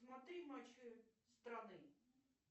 смотри матчи страны